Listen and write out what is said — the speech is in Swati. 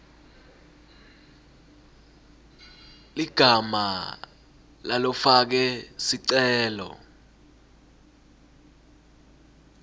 ligama lalofake sicelo